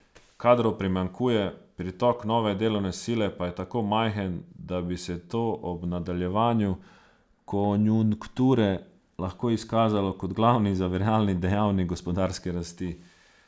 Kadrov primanjkuje, pritok nove delovne sile pa je tako majhen, da bi se to ob nadaljevanju konjunkture lahko izkazalo kot glavni zaviralni dejavnik gospodarske rasti.